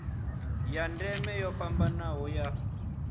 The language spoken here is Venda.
ya ndeme yo fhambanaho ya